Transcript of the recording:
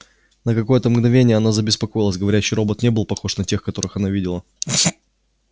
на какое-то мгновение она забеспокоилась говорящий робот не был похож на тех которых она видела